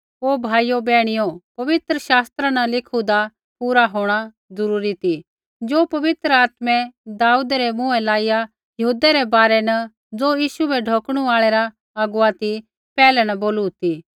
ओ भाइयो बैहणियो पवित्र शास्त्रा न लिखुदा पूरा होंणा ज़रूरी ती ज़ो पवित्र आत्मै दाऊदै रै मुँहै लाइया यहूदै रै बारै न ज़ो यीशु बै ढौकणु आल़ै रा अगुवा ती पैहलै न बोलू ती